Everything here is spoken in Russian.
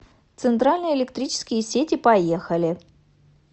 центральные электрические сети поехали